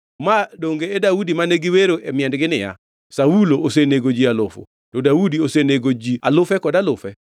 Ma donge e Daudi mane giwero e miendgi niya, “ ‘Saulo osenego ji alufu to Daudi osenego ji alufe kod alufe?’ ”